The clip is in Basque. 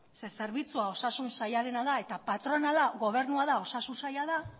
zeren zerbitzua osasun sailarena da eta patronala gobernua da osasun saila da